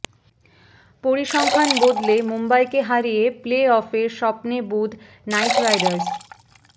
পরিসংখ্যান বদলে মুম্বইকে হারিয়ে প্লে অফের স্বপ্নে বুঁদ নাইট রাইডার্স